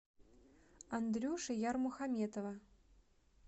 андрюши ярмухаметова